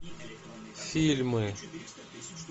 фильмы